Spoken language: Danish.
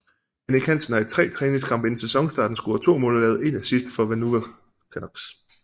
Jannik Hansen har i tre træningskampe inden sæsonstarten scoret 2 mål og lavet 1 assist for Vancouver Canucks